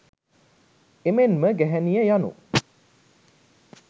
එමෙන්ම ගැහැණිය යනු